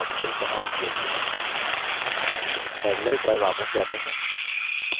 terminal पर वापस जाते हैं